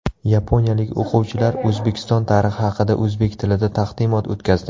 Yaponiyalik o‘quvchilar O‘zbekiston tarixi haqida o‘zbek tilida taqdimot o‘tkazdi.